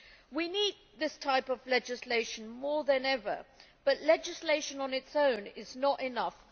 We need this type of legislation more than ever, but legislation on its own is not enough.